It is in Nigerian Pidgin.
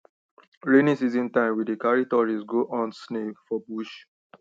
rainy season time we dey carry tourists go hunt snail for bush